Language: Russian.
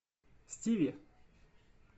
стиви